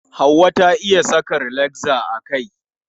Hauwa ta iya saka rilakza a kai.